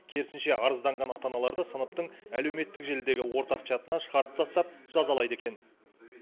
керісінше арызданған ата аналарды сыныптың әлеуметтік желідегі ортақ чатынан шығарып тастап жазалайды екен